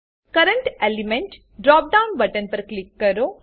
current element drop down button પર click કરો